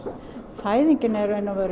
fæðingin er